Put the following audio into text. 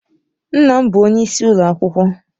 Nna m bụ onyeisi ụlọ akwụkwọ.